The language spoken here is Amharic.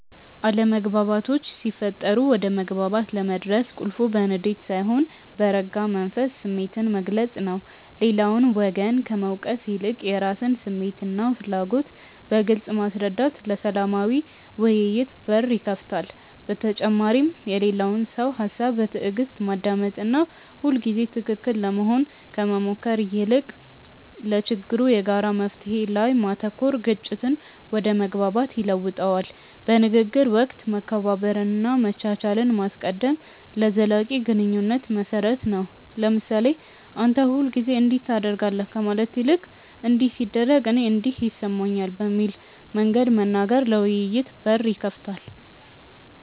አለመግባባቶች ሲፈጠሩ ወደ መግባባት ለመድረስ ቁልፉ በንዴት ሳይሆን በረጋ መንፈስ ስሜትን መግለጽ ነው። ሌላውን ወገን ከመውቀስ ይልቅ የራስን ስሜትና ፍላጎት በግልጽ ማስረዳት ለሰላማዊ ውይይት በር ይከፍታል። በተጨማሪም የሌላውን ሰው ሃሳብ በትዕግስት ማዳመጥና ሁልጊዜ ትክክል ለመሆን ከመሞከር ይልቅ ለችግሩ የጋራ መፍትሔ ላይ ማተኮር ግጭትን ወደ መግባባት ይለውጠዋል። በንግግር ወቅት መከባበርንና መቻቻልን ማስቀደም ለዘላቂ ግንኙነት መሰረት ነው። ለምሳሌ "አንተ ሁልጊዜ እንዲህ ታደርጋለህ" ከማለት ይልቅ "እንዲህ ሲደረግ እኔ እንዲህ ይሰማኛል" በሚል መንገድ መናገር ለውይይት በር ይከፍታል።